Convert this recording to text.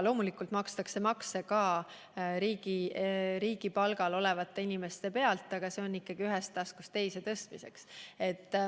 Loomulikult makstakse makse ka riigi palgal olevate inimeste pealt, aga see on raha ühest taskust teise tõstmine.